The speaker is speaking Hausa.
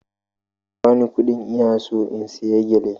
Ka ba ni kuɗin, ina so in saya gele!